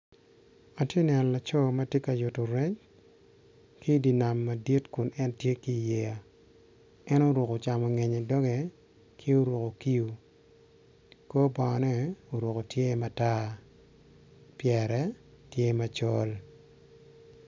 Atye ka neno laco madit ma tye obedo i yeya. En oruko camu ngeye i doge. Oruku kio kor bone tye matar, pyere tye macol.